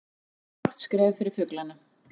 Stórt skref fyrir fuglana